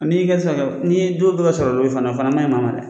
N'i' yi ka o fana man ɲi maa ma dɛ!